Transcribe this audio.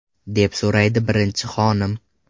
deb so‘raydi birinchi xonim.